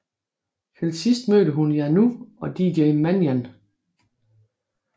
Til sidst mødte hun Yanou og DJ Manian